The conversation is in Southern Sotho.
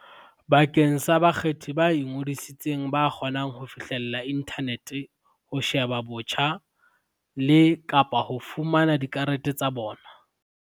bakeng sa bakgethi ba ingodisitseng ba kgonang ho fihlella inthanete ho sheba botjha le, kapa ho fana ka diaterese tsa bona.